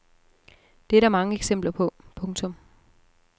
Det er der mange eksempler på. punktum